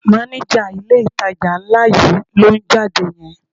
Mánéjà ilé-ìtajà ńlá yìí ló ń jáde yẹn